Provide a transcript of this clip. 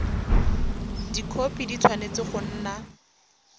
dikhopi di tshwanetse go nna